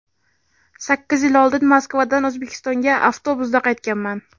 Sakkiz yil oldin Moskvadan O‘zbekistonga avtobusda qaytganman.